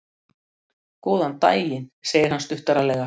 Góðan daginn, segir hann stuttaralega.